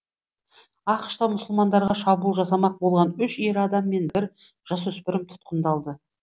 ақш та мұсылмандарға шабуыл жасамақ болған үш ер адам мен бір жасөспірім тұтқындалды